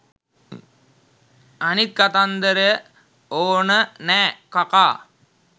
අනිත් කතන්දර ඕන නෑ කකා.